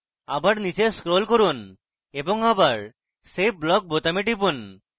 আবার নীচে scroll করুন এবং আবার save block বোতাম টিপুন